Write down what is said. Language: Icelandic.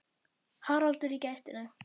Haraldur í gættinni.